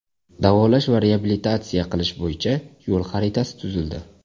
Davolash va reabilitatsiya qilish bo‘yicha yo‘l xaritasi tuzildi.